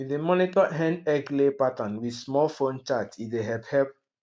we dey monitor hen egglay pattern with small phone chart e dey help help